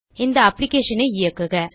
இந்த அப்ளிகேஷன் ஐ இயக்குக